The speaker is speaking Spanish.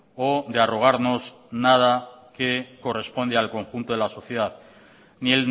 o de arrogarnos nada que corresponde al conjunto de la sociedad ni